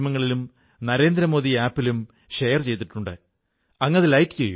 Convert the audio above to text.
സന്താനങ്ങളെ അതിർത്തിയിലേക്കയച്ചിരിക്കുന്ന കുടുംബങ്ങളുടെ ത്യാഗത്തെയും ഞാൻ നമിക്കുന്നു